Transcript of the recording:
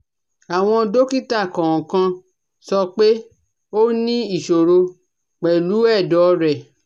Àwọ́n dọ́kítà kòòkan sọ pé ó ní ìsòro pẹ̀lú ẹ̀dọ̀ rẹ̀